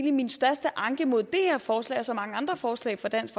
er min største anke mod det her forslag og så mange andre forslag fra dansk